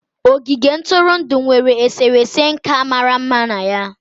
Ogige ntụrụndụ nwere eserese nka mara mma na ya.